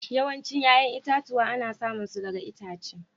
Yawancin 'ƴa'ƴan itatuwa ana samun su daga itace.